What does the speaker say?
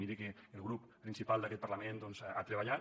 miri que el grup principal d’aquest parlament ha treballat